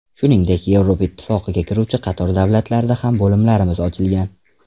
Shuningdek, Yevropa Ittifoqiga kiruvchi qator davlatlarda ham bo‘limlarimiz ochilgan.